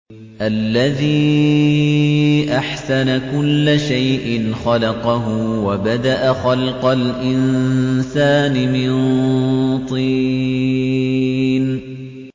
الَّذِي أَحْسَنَ كُلَّ شَيْءٍ خَلَقَهُ ۖ وَبَدَأَ خَلْقَ الْإِنسَانِ مِن طِينٍ